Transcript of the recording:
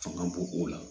Fanga bon o la